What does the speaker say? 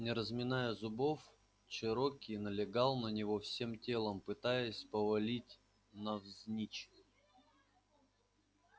не разминая зубов чероки налегал на него всем телом пытаясь повалить навзничь